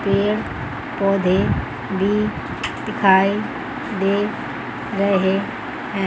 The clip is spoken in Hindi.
पेड़ पौधे भी दिखाई दे रहे हैं।